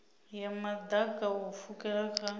ya maḓaka u pfukela kha